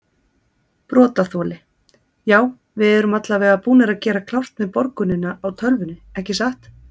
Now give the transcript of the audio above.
Brotaþoli: Já við erum allavega búnir að gera klárt með borgunina á tölvunni ekki satt?